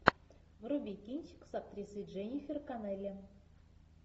вруби кинчик с актрисой дженнифер коннелли